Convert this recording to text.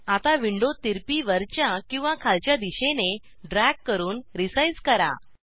आता विंडो तिरपी वरच्या किंवा खालच्या दिशेने ड्रॅग करून रिसाईज करा